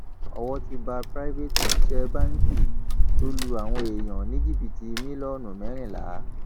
owó ti bá private òṣìṣẹ báǹkì tó lu àwọn èèyàn ní jìbìtì mílíọnù mẹrìnlá